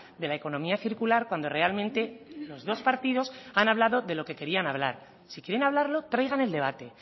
de la economía circular cuando realmente los dos partidos han hablado de lo que querían hablar si quieren hablarlo traigan el debate